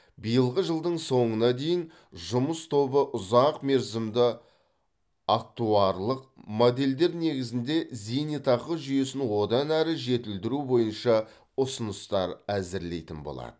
биылғы жылдың соңына дейін жұмыс тобы ұзақмерзімді актуарлық модельдер негізінде зейнетақы жүйесін одан әрі жетілдіру бойынша ұсыныстар әзірлейтін болады